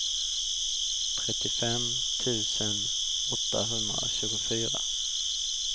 trettiofem tusen åttahundratjugofyra